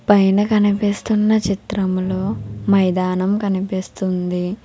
పైన కనిపిస్తున్నా చిత్రంలో మైదానం కనిపిస్తుంది.